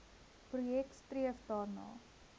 projek streef daarna